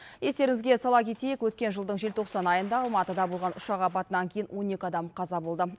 естеріңізге сала кетейік өткен жылдың желтоқсан айында алматыда болған ұшақ апатынан кейін он екі адам қаза болды